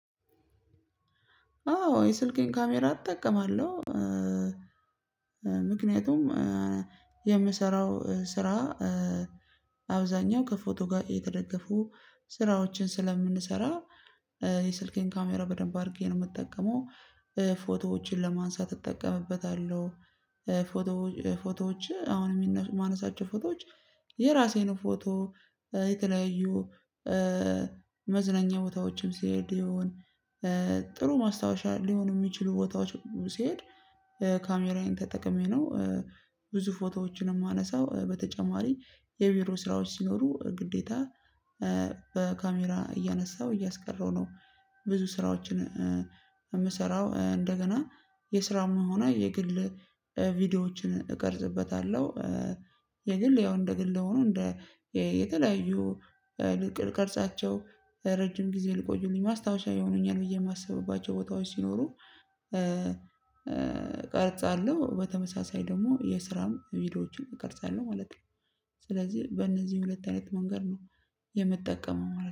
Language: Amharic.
አዎ የስልክን ካሜራ እጠቀማለሁ ምክንያቱም የምሰራው ስራ አብዛኛው ከፎቶ ጋር የተደገፉ ስራዎችን ስለምንሰራ የስልኬን ካሜራ በደንብ አድርጌ ነው የምጠቀመው። ፎቶዎችን ለማንሳት እጠቀምበታለሁ። ፎቶ ፎቶዎች አሁን የማነሳቸው ፎቶዎች የራሴን ፎቶ የተለያዩ መዝነኛ ቦታዎችም ሲሄድ ይሆን ጥሩ ማስታወሻ ሊሆኑ የሚችሉ ቦታዎች ሲሄድ ካሜራዬን ተጠቅሜ ነው። ብዙ ፎቶዎችን የማነሳው በተጨማሪ የቢሮ ስራዎች ሲኖሩ ግዴታ በካሜራ እያነሳሁ እያስቀረሁ ነው። ብዙ ስራዎችን የምሰራው እንደገና የስራው መሆኑ የግል ቪዲዮዎችን እቀርጽበታለሁ። የግል ያው እንደ ግል ሆኖ እንደ የተለያዩ ልቀርጻቸው ረጅም ጊዜ ሊቆዩልኝ ማስታወሻ ይሆኑኛል ብዬ የማስብባቸው ቦታዎች ሲኖሩ እቀርጻለሁ በተመሳሳይ ደግሞ የስራም ቪዲዮዎችን እቀርጻለሁ ማለት ነው። ስለዚህ በእነዚህ ሁለት አይነት መንገድ ነው የምጠቀመው